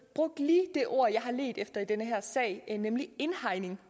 brugte lige det ord jeg har ledt efter i den her sag nemlig indhegning